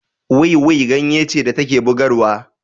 Wiwi ganye ce da take bugarwa